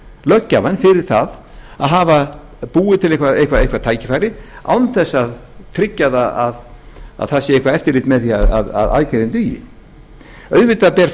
löggjafann fyrir það að hafa búið til eitthvað tækifæri án þess að tryggja að það sé eitthvert eftirlit með því að aðgerðin dugi auðvitað ber